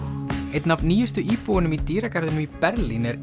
einn af nýjustu íbúunum í dýragarðinum í Berlín er